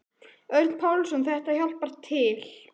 Örn Pálsson: Þetta hjálpar til.